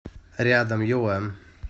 рядом юла